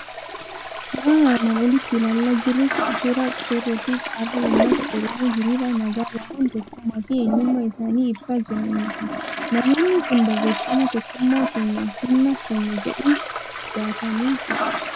Suuraan armaan olitti ilaalaa jirru kun suuraa qeerroo fi qarree uummata Oromoo, hiriira nagaa bahuun tokkummaa fi eenyummaa isaanii ibsaa jiraniiti. Namoonni kun barreeffama Tokkummaan keenya Humna Keenya jedhu baatanii jiru.